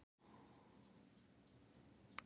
Bara kúl.